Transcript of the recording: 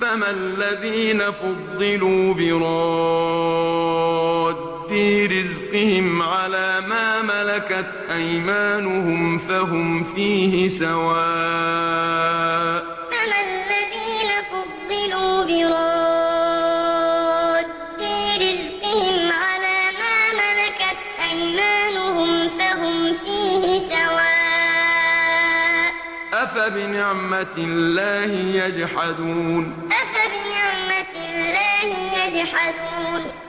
فَمَا الَّذِينَ فُضِّلُوا بِرَادِّي رِزْقِهِمْ عَلَىٰ مَا مَلَكَتْ أَيْمَانُهُمْ فَهُمْ فِيهِ سَوَاءٌ ۚ أَفَبِنِعْمَةِ اللَّهِ يَجْحَدُونَ وَاللَّهُ فَضَّلَ بَعْضَكُمْ عَلَىٰ بَعْضٍ فِي الرِّزْقِ ۚ فَمَا الَّذِينَ فُضِّلُوا بِرَادِّي رِزْقِهِمْ عَلَىٰ مَا مَلَكَتْ أَيْمَانُهُمْ فَهُمْ فِيهِ سَوَاءٌ ۚ أَفَبِنِعْمَةِ اللَّهِ يَجْحَدُونَ